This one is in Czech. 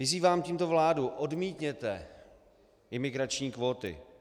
Vyzývám tímto vládu - odmítněte imigrační kvóty.